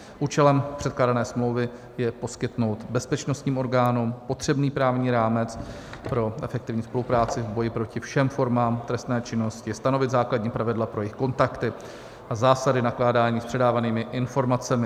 Účelem předkládané smlouvy je poskytnout bezpečnostním orgánům potřebný právní rámec pro efektivní spolupráci v boji proti všem formám trestné činnosti, stanovit základní pravidla pro jejich kontakty a zásady nakládání s předávanými informacemi.